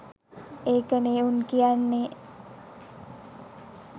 ඒක නෙ උන් කියන්නෙ